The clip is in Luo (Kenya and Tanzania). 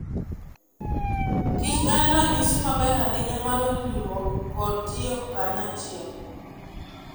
kich en ranyisi maber ahinya mar winjruok kod tiyo kanyachiel.